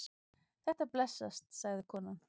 Þetta blessast, sagði konan.